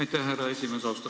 Aitäh, härra esimees!